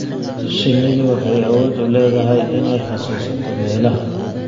Shinnidu waxay awood u leedahay inay xasuusato meelaha.